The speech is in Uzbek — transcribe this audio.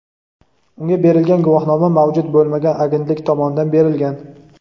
unga berilgan guvohnoma mavjud bo‘lmagan agentlik tomonidan berilgan.